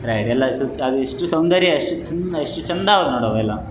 ಎಷ್ಟು ಸೌಂದರ್ಯ ಎಷ್ಟು ಚೆಂದ ಎಷ್ಟು ಚಂದ ನೋಡ್ ಅವೆಲ್ಲ.